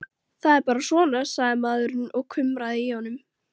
Það er bara svona, sagði maðurinn og kumraði í honum.